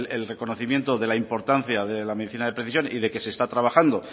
el reconocimiento de la importancia de la medicina de precisión y que se está trabajando